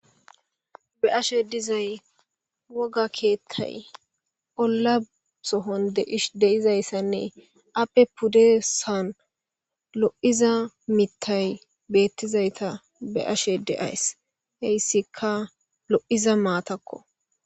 be ashe dizay woga keettay olla sohon de ish deizayssanne appe puddesan lo7iza mittay beettizayta be ashe deayss heyssikka lo7iza maatakko